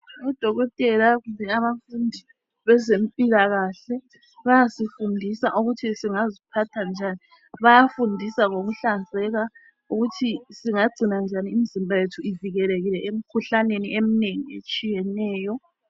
Odokotela kumbe abafundi bezempilakahle bayasifundisa ukuthi singaziphatha njani bayafundisa ngokuhlanzeka ukuthi singagcina njani imizimba yethu uvikelekile emikhuhlaneni eminengi etshiyeneyo.